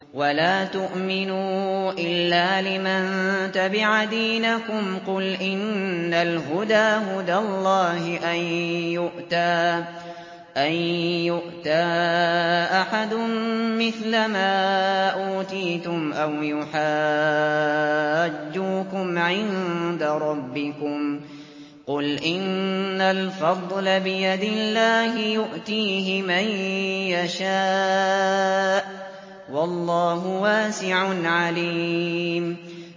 وَلَا تُؤْمِنُوا إِلَّا لِمَن تَبِعَ دِينَكُمْ قُلْ إِنَّ الْهُدَىٰ هُدَى اللَّهِ أَن يُؤْتَىٰ أَحَدٌ مِّثْلَ مَا أُوتِيتُمْ أَوْ يُحَاجُّوكُمْ عِندَ رَبِّكُمْ ۗ قُلْ إِنَّ الْفَضْلَ بِيَدِ اللَّهِ يُؤْتِيهِ مَن يَشَاءُ ۗ وَاللَّهُ وَاسِعٌ عَلِيمٌ